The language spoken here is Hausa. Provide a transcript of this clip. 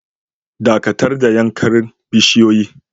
Dakatar da yankan bisiyoyin.